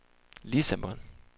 Lissabon